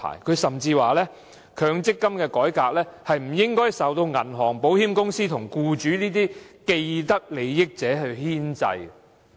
他甚至認為，強積金改革不應受銀行、保險公司及僱主等既得利益者牽制。